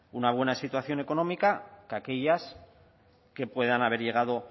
una buena situación económica que aquellas que puedan haber llegado